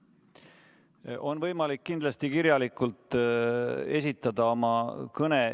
Kindlasti on võimalik oma kõne kirjalikult esitada.